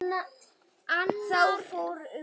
Þá fór um okkur.